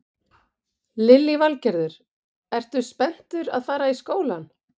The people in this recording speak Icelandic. Lillý Valgerður: Ertu spenntur að fara í skólann?